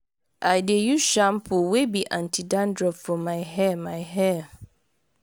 i dey use shampoo wey be anti dandruff for my hair. my hair.